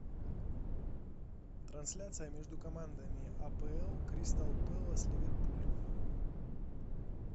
трансляция между командами апл кристал пэлас ливерпуль